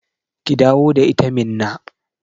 Ki dawo da ita Minna